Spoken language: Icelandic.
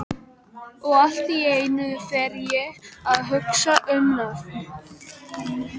Og allt í einu fer ég að hugsa um nöfn.